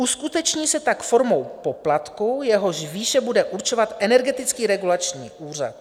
Uskuteční se tak formou poplatku, jehož výše bude určovat Energetický regulační úřad.